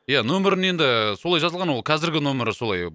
ия нөмірін енді ііі солай жазылған ол қазіргі нөмірі солай